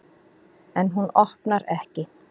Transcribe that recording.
En hún opnar ekki.